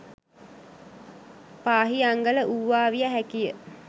පාහියන්ගල වූවා විය හැකි ය.